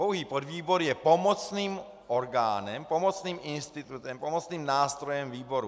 Pouhý podvýbor je pomocným orgánem, pomocným institutem, pomocným nástrojem výboru.